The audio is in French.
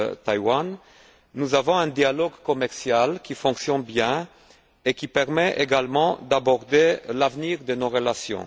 Taïwan, nous avons un dialogue commercial qui fonctionne bien et qui permet également d'aborder l'avenir de nos relations.